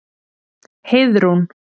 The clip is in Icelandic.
Heiðrún